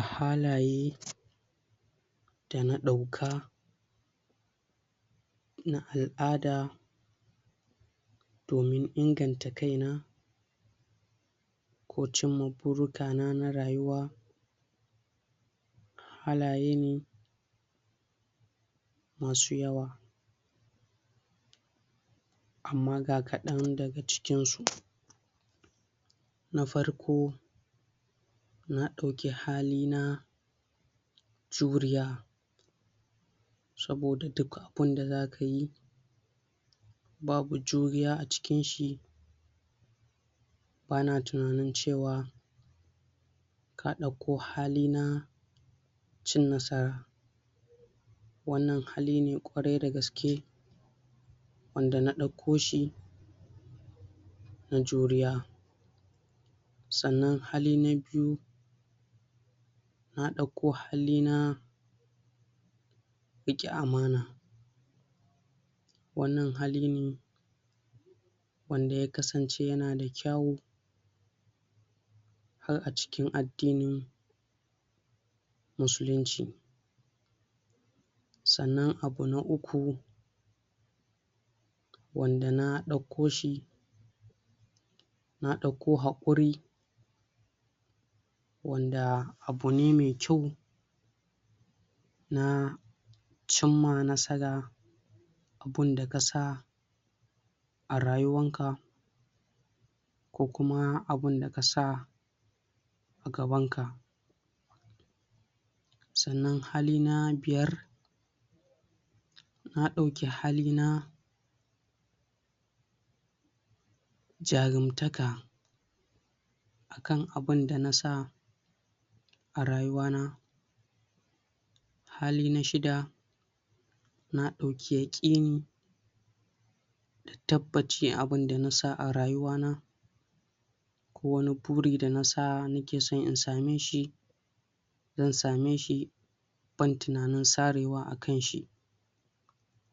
a halaye dana ɗauka na al'ada domin inganta kaina ko cimma burukana na rayuwa halaye ne masu yawa amma ga kaɗan daga cikin su na farko na ɗauki halina juriya saboda duk abunda zakayi babu juriya acikin shi bana tunanin cewa na ɗauko halina cin nasara wannan haline kwarai da gaske wanda na ɗauko shi na juriya sannan hali na biyu na ɗauko halina riƙe amana wannan hali ne wanda yakasance yanada kyawo har acikin addinin Musulunci sannan abu na uku wanda na ɗaukoshi na ɗauko haƙuri wanda abune me kyau na cimma nasara abun da kasa a rayuwan ka ko kuma abin da kasa agabanka sannan hali na biyar na ɗauki hali na jarum taka kan abin danasa a rayuwana hali na shida na ɗauki yaƙini tabbaci abin dana sa arayuwana ko wani buri da nasa nakeso in sameshi zan sameshi ban tinanin sarewa akan shi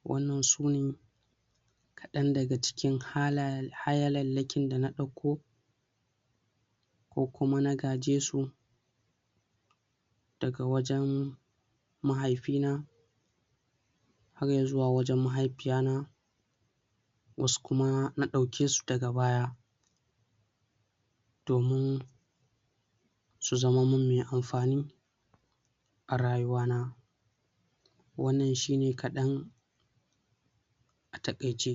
wannan sune ɗan daga cikin halallakin da na ɗauko ko kuma na gaje su daga wajan mahaifina har izuwa wajan mahai fiyana wasu kuma na ɗaukesu daga baya domin su zama mun me amfani arayuwa na wannan shine kaɗan ata kaice